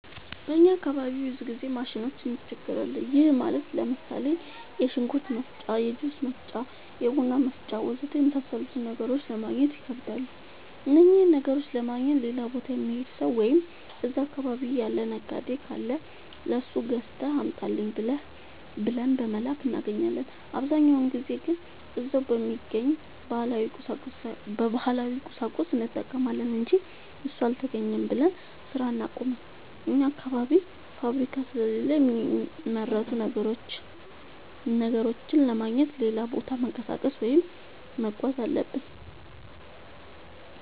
በእኛ አካባቢ ብዙ ጊዜ ማሽኖች እንቸገራለን። ይህም ማለት ለምሳሌ፦ የሽንኩርት መፍጫ፣ የጁስ መፍጫ፣ የቡና መፍጫ.... ወዘተ የመሣሠሉትን ነገሮች ለማገግኘት ይከብዳሉ። እነኝህን ነገሮች ለማግኘት ሌላ ቦታ የሚሄድ ሠው ወይም እዛ አካባቢ ያለ ነጋዴ ካለ ለሱ ገዝተህ አምጣልኝ ብለን በመላክ እናገኛለን። አብዛኛውን ጊዜ ግን እዛው በሚገኝ ባህላዊ ቁሳቁስ እንጠቀማለን አንጂ እሱ አልተገኘም ብለን ስራ አናቆምም። አኛ አካባቢ ፋብሪካ ስለሌለ የሚመረቱ ነገሮችን ለማግኘት ሌላ ቦታ መንቀሳቀስ ወይም መጓዝ አለብን።